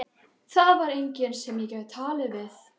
Það var enginn sem ég gat talað við.